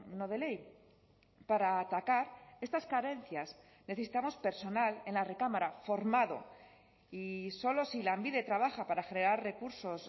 no de ley para atacar estas carencias necesitamos personal en la recámara formado y solo si lanbide trabaja para generar recursos